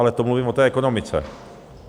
Ale to mluvím o té ekonomice.